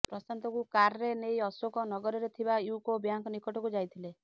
ପ୍ରଶାନ୍ତକୁ କାର୍ରେ ନେଇ ଅଶୋକ ନଗରରେ ଥିବା ୟୁକୋ ବ୍ୟାଙ୍କ ନିକଟକୁ ଯାଇଥିଲେ